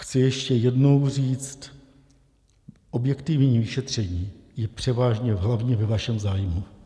Chci ještě jednou říct, objektivní šetření je převážně hlavně ve vašem zájmu.